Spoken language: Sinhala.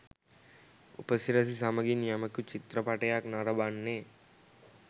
උපසිරැසි සමගින් යමෙකු චිත්‍රපටියක් නරඹන්නේ